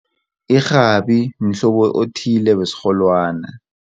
Irhabi mhlobo othile wesirholwana.